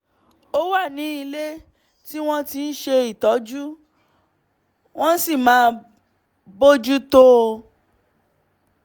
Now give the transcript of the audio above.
ó wà ní ilé tí wọ́n ti ń ṣe ìtọ́jú wọ́n sì máa bójú tó o